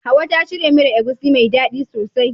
Hauwa ta shirya miyar agushi mai dadi sosai.